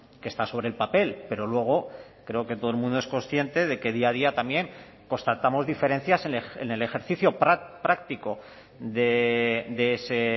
que está sobre el papel pero luego creo que todo el mundo es consciente de que día a día también constatamos diferencias en el ejercicio práctico de ese